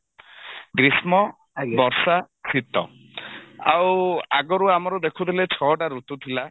ଗ୍ରୀଷ୍ମ ବର୍ଷା ଶିତ ଆଉ ଆଗରୁ ଆମର ଦେଖୁଥିଲେ ଛଅଟା ଋତୁ ଥିଲା